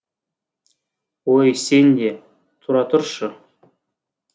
ой сен де тұра тұршы